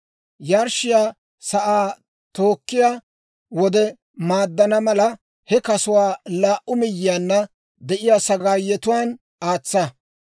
Yarshshiyaa sa'aa tookkiyaa wode maaddana mala, he kasuwaa laa"u miyyiyaanna de'iyaa sagaayetuwaan aatsa.